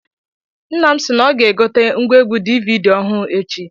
Nna m sị na ọ ga egote ngwaegwu DVD ọhụụ echi.